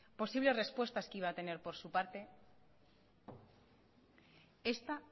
posibles respuestas que iba a tener por su parte esta